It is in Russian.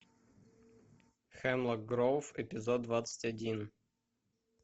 хемлок гроув эпизод двадцать один